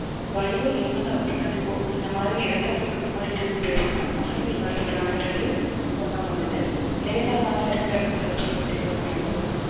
வலியும் லேசான ரத்த கசிவோ அந்த மாதிரி ரத்தப்போக்கு இந்த மாதிரி எதுவும் இருந்துச்சுன்னா மகப்பேறு மருத்துவரை அணுகுறது ரொம்ப நல்லது லேசாதானே இருக்கு அப்படின்னு அலட்சியப்படுத்தி விடக்கூடாது